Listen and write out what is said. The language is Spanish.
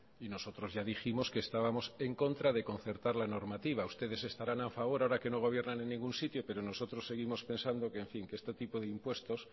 y nosotros ya dijimos que estábamos en contra de concertar la normativa ustedes estarán a favor ahora que no gobiernan en ningún sitio pero nosotros seguimos pensando que este tipo de impuestos